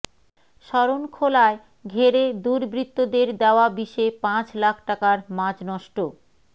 শরণখোলায় ঘেরে দুর্বৃত্তদের দেয়া বিষে পাঁচ লাখ টাকার মাছ নষ্ট